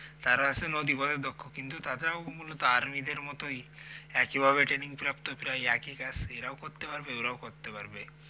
তারা আসলে নদী পথে দক্ষ কিন্তু তাদেরও মূল আর্মিদের মতই একইভাবে training প্রাপ্ত প্রায় একই কাজ এরাও করতে পারবে ওরাও করতে পারবে